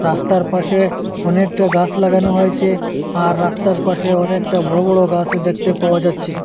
রাস্তার পাশে অনেকটা গাছ লাগানো হয়েচে আর রাস্তার পাশে অনেকটা বড় বড় গাছও দেখতে পাওয়া যাচ্চে।